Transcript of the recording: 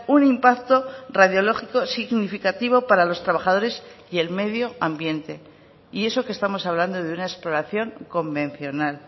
un impacto radiológico significativo para los trabajadores y el medio ambiente y eso que estamos hablando de una exploración convencional